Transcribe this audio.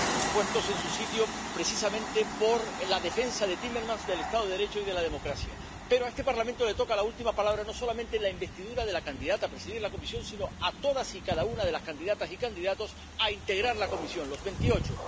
puestos en su sitio, precisamente por la defensa de Timemermans del Estado de Derecho y de la democracia, Pero a este Parlamento le toca la última palabra no solamente en la investidura de la candidata a presidir la Comisión sino en la de todas y cada una de las candidatas y de los candidatos a integrar la Comisión, los veintiocho.